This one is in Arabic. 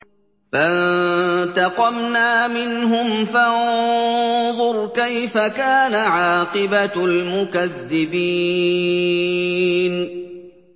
فَانتَقَمْنَا مِنْهُمْ ۖ فَانظُرْ كَيْفَ كَانَ عَاقِبَةُ الْمُكَذِّبِينَ